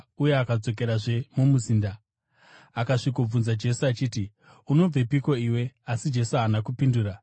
uye akadzokerazve mumuzinda. Akasvikobvunza Jesu achiti, “Unobvepiko iwe?” Asi Jesu haana kupindura.